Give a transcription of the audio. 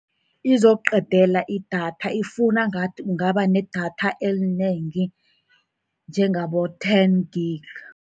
Izokuqedela idatha, ifuna ngathi ungaba nedatha elinengi, njengabo-ten gig.